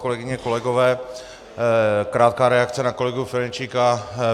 Kolegyně, kolegové, krátká reakce na kolegu Ferjenčíka.